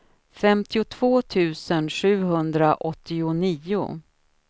femtiotvå tusen sjuhundraåttionio